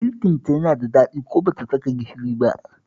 Girkinta yana da daɗi ko ba ta saka gishiri ba